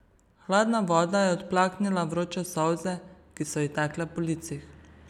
Hladna voda je odplaknila vroče solze, ki so ji tekle po licih.